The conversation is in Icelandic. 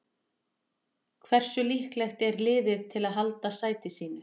Hversu líklegt er liðið til að halda sæti sínu?